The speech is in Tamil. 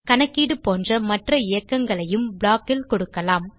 கணக்கீடு போன்ற மற்ற இயக்கங்களையும் ப்ளாக் ல் கொடுக்கலாம்